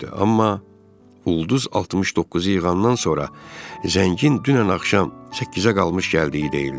Amma ulduz 69-u yığandan sonra zəngin dünən axşam 8-ə qalmış gəldiyi deyildi.